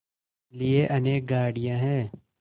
लिए अनेक गाड़ियाँ हैं